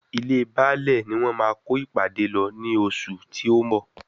Ilée Baálẹ̀ ni wọ́n máa kó ìpàdé lọ ní oṣù tí ó ń bọ̀.